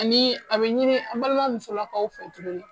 Ani a bɛ ɲini an balima musolakaw fɛ tuguni